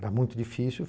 Era muito difícil.